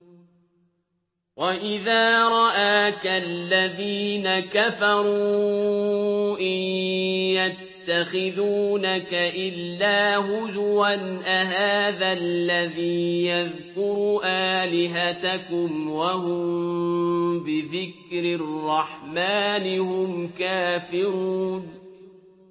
وَإِذَا رَآكَ الَّذِينَ كَفَرُوا إِن يَتَّخِذُونَكَ إِلَّا هُزُوًا أَهَٰذَا الَّذِي يَذْكُرُ آلِهَتَكُمْ وَهُم بِذِكْرِ الرَّحْمَٰنِ هُمْ كَافِرُونَ